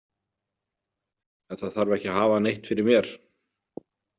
En það þarf ekki að hafa neitt fyrir mér.